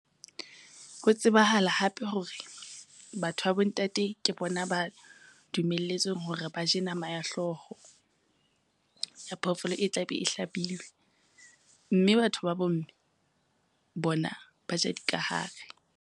Ho tsebahala hape hore, batho ba bontate ke bona ba dumelletsweng hore ba je nama ya hlooho. Ya phoofolo e tla be e hlabilwe, mme batho ba bomme bona ba ja dikahare.